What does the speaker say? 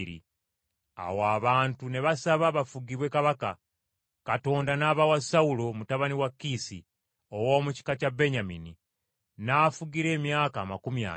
Awo abantu ne basaba bafugibwe kabaka. Katonda n’abawa Sawulo mutabani wa Kiisi, ow’omu kika kya Benyamini, n’afugira emyaka amakumi ana.